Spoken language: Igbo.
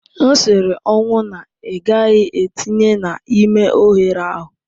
M siri ọnwụ na ị gaghị etinye n'ime oghere ahụ.